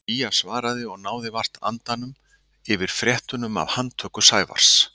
Gígja svaraði og náði vart andanum yfir fréttunum af handtöku Sævars.